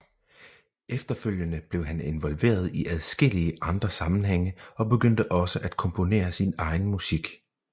Efterfølgende blev han involveret i adskillige andre sammengænge og begyndte også at komponere sin egen musik